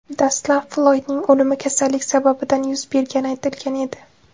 Dastlab, Floydning o‘limi kasallik sababidan yuz bergani aytilgan edi.